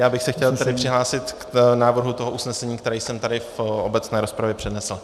Já bych se chtěl tedy přihlásit k návrhu toho usnesení, které jsem tady v obecné rozpravě přednesl.